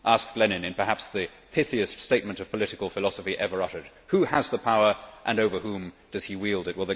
asked Lenin in perhaps the pithiest statement of political philosophy ever uttered. Who has the power, and over whom does he wield it?